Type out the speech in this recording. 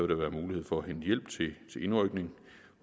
der være mulighed for at hente hjælp til indrykning